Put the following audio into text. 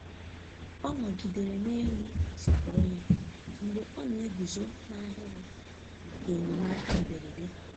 Ọ nọgidere n'elu asọpụrụ ya mgbe ọ na-eguzo n'ahịrị maka enyemaka mberede.